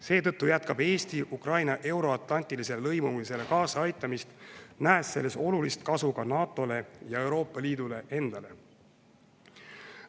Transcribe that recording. Seetõttu jätkab Eesti Ukraina euroatlantilisele lõimumisele kaasaaitamist, nähes selles olulist kasu ka NATO-le ja Euroopa Liidule endale.